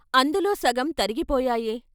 అందులో సగం తరిగిపోయాయే?